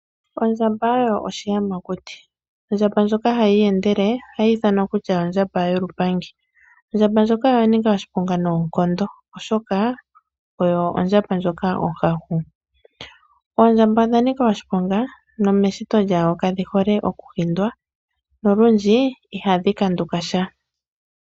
Ondjamba oyo oshiyamakuti, ondjamba ndyoka hayi iyendele ohayi ithanwa kutya ondjamba yolupangi. Ondjamba ndyoka oya nika oshiponga noonkondo oshoka oyo ondjamba ndyoka onhahu. Oondjamba odha nika oshiponga nomeshito dhawo kadhi hole okuhindwa nolundji ihadhi kanduka sha.